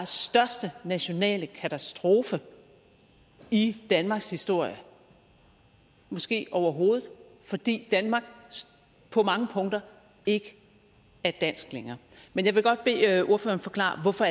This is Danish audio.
største nationale katastrofe i danmarks historie måske overhovedet fordi danmark på mange punkter ikke er dansk længere men jeg vil godt bede ordføreren forklare hvorfor